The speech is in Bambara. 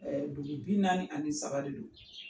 Dugu bi naani ani saba de don.